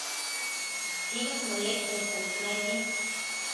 фильм млечный путь найди